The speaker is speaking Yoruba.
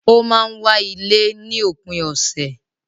O máa n wá ilé ní òpin ọ̀sẹ̀